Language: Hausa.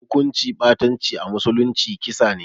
Hukunci ɓatanci a musulunci kisa ne